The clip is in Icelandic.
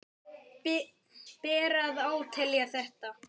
Ber að átelja þetta.